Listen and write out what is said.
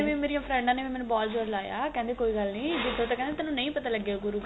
ਮੇਰੀਆਂ ਫ੍ਰੇੰਡਾ ਨੇ ਵੀ ਮੇਨੂੰ ਬਹੁਤ ਜੋਰ ਲਾਇਆ ਕਹਿੰਦੇ ਕੋਈ ਗੱਲ ਨੀ ਜਿੱਥੋ ਤੋਂ ਕਹਿੰਦੇ ਤੇਨੂੰ ਨਹੀਂ ਪਤਾ ਲੱਗਿਆ ਕਰੁ